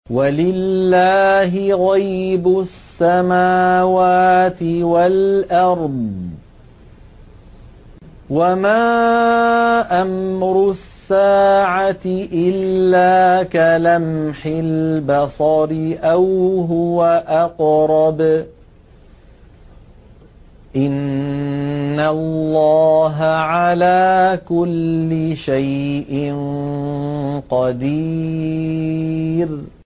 وَلِلَّهِ غَيْبُ السَّمَاوَاتِ وَالْأَرْضِ ۚ وَمَا أَمْرُ السَّاعَةِ إِلَّا كَلَمْحِ الْبَصَرِ أَوْ هُوَ أَقْرَبُ ۚ إِنَّ اللَّهَ عَلَىٰ كُلِّ شَيْءٍ قَدِيرٌ